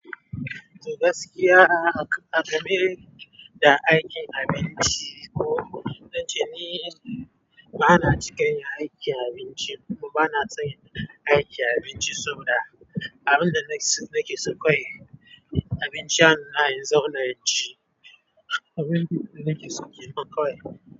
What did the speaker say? To gaskiya aka, aka min da aikin abinci ko don ce ni ba na cika yin aikin abinci kuma ba na son yin aikin abinci saboda abin da nake, nake so kawai abinci a hannuna in zauna, in ci abin da nake so kenan kawai.